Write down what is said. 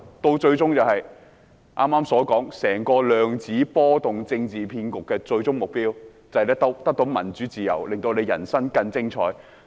剛才說整個"量子波動政治騙局"的最終目標就是得到民主、自由，令大家人生更精彩。